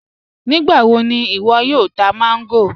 Nígbàwọ̀ ni iwo yóò tà mango?